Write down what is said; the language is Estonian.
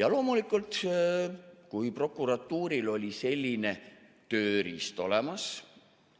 Ja loomulikult, kui prokuratuuril oli selline tööriist olemas,